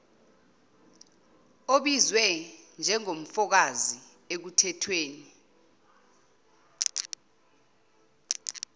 obizwe njengofakazi ekuthethweni